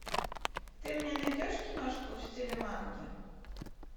ты мне найдешь киношку в стиле манги